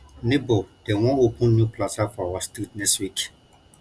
nebor dem wan open new plaza for our street next week